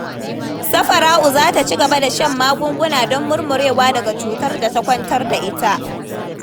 Safara'u za ta ci gaba da shan magunguna don murmurewa daga cutar da ta kwantar da ita.